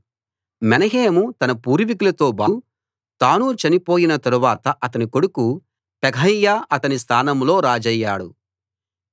మెనహేము తన పూర్వీకులతోబాటు తానూ చనిపోయిన తరువాత అతని కొడుకు పెకహ్యా అతని స్థానంలో రాజయ్యాడు